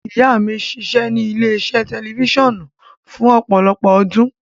Ìyá mi ṣiṣẹ́ ní ilé-iṣẹ́ tẹlifíṣàn fún ọ̀pọ̀lọpọ̀ ọdún.